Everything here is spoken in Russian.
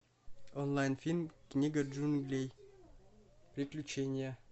онлайн фильм книга джунглей приключения